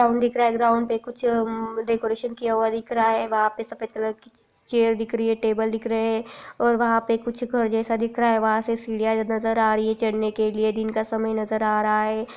Ground दिख रहा है ग्राउंड पे उम्म कुछ डेकोरेसन किया हुआ दिख रहा है वहाँ पे सफेद कलर की चेयर दिख रही है टेबल दिख रहे है और वह पे कुछ घर जैसा दिख रहा है वहाँ से सिढ़िया नज़र आ रही है चढ़ने के लिये दिन का समय नज़र आ रहा है ।